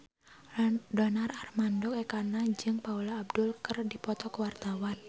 Donar Armando Ekana jeung Paula Abdul keur dipoto ku wartawan